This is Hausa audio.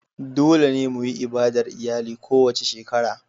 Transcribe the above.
Dole ne mu yi ibadar iyali kowace shekara.